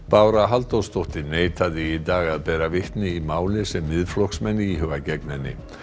Bára Halldórsdóttir neitaði í dag að bera vitni í máli sem Miðflokksmenn íhuga gegn henni